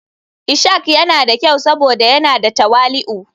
Ishak yana da kyau saboda yana da tawali'u.